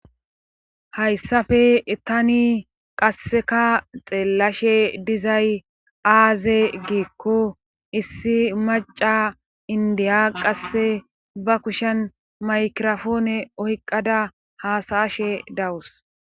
Hayssafe tani qasseka xeellashe dizay aaze giikko issi maccay inddiya qasse ba kushen maykirapoone oyqqada haasa7ashe dawus